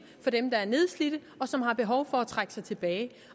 for dem der er nedslidte og som har behov for at trække sig tilbage